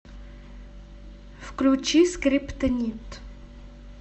включи скриптонит